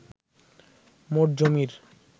মোট জমির